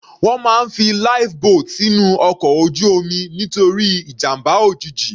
Wọ́n máa ń fi Life boat sínú ọkọ̀ ojú omi nítorí ìjàmbá òjijì.